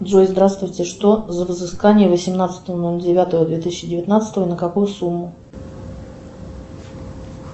джой здравствуйте что за взыскание восемнадцатого ноль девятого две тысячи девятнадцатого на какую сумму